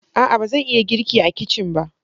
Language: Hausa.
A'a! ba zan iya girki a kicin ba.